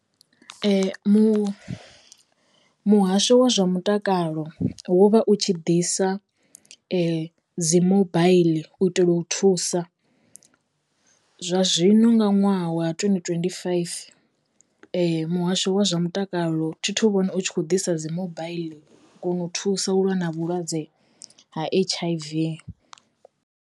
Mu, muhasho wa zwa mutakalo wo vha u tshi ḓisa dzi mobaiḽi u itela u thusa. Zwa zwino nga ṅwaha wa twendi twendi faifi muhasho wa zwa mutakalo thi thu vhona u tshi khou ḓisa dzi mobaiḽi kona u thusa u lwa na vhulwadze ha H_I_V.